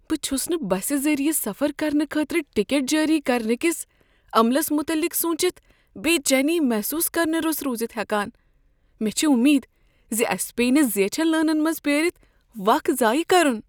بہٕ چھس نہٕ بسہٕ ذریعہٕ سفر کرنہٕ خٲطرٕ ٹکٹ جٲری کرنہٕ کس عملس متعلق سوچتھ بےچینی محسوس کرنہ رُس روزتھ ہیکان، مےٚ چھےٚ امید ز أسۍ پیٚیہ نہٕ زیچھن لٲنن منٛز پیٲرتھ وق ضایع کرن۔